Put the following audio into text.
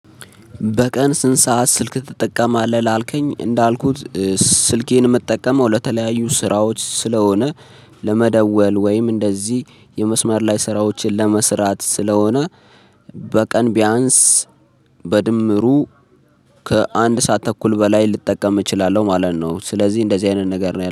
በቀን ስንት ሰዓት ስልክ ትጠቀማለህ? ላልከኝ እንዳልኩት ስልኬን የምጠቀመው ለተለያዩ ስራዎች ስለሆነ ለመደወል ወይም እንደዚህ የመስመር ላይ ስራዎችን ለመስራት ስለሆነ በቀን ቢያንስ በድምሩ ከአንድ ሰዓት ተኩል በላይ ልጠቀም እችላለሁ ማለት ነው። ስለዚህ እንደዚህ አይነት ነገር ነው